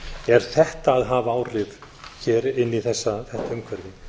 er þetta að hafa áhrif hér inn í þetta umhverfi